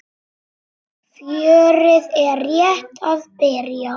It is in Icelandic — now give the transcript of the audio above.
Fjörið er rétt að byrja!